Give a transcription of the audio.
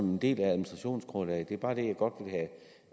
en del af administrationsgrundlaget og det er bare det jeg godt vil have